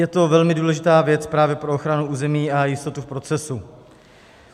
Je to velmi důležitá věc právě pro ochranu území a jistotu v procesu.